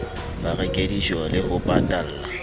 ba reke dijole ho patalla